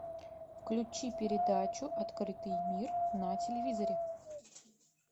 включи передачу открытый мир на телевизоре